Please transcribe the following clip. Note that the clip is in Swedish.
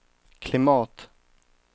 klimat